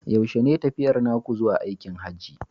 Yaushe ne tafiyar naku zuwa aikin Hajji?